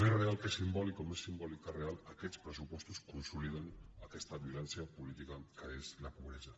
més real que simbòlic o més simbòlic que real aquests pressu·postos consoliden aquesta violència política que és la pobresa